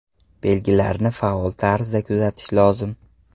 Belgilarni faol tarzda kuzatish lozim.